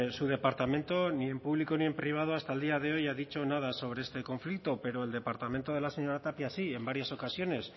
su departamento ni en público ni en privado hasta el día de hoy ha dicho nada sobre este conflicto pero el departamento de la señora tapia sí en varias ocasiones